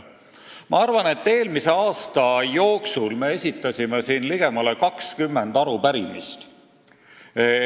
Ma arvan, et eelmise aasta jooksul me esitasime siin ligemale 20 arupärimist.